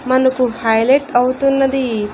మనకు హైలెట్ అవుతున్నది.